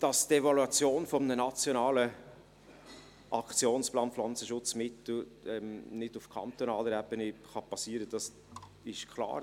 Dass die Evaluation eines Nationalen Aktionsplans Pflanzenschutzmittel nicht auf kantonaler Ebene geschehen kann, ist klar.